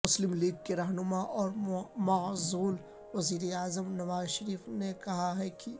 مسلم لیگ کے رہنما اور معزول وزیر اعظم نواز شریف نے کہا ہے کہ